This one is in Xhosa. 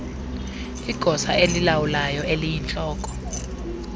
igosa elilawulayo eliyintloko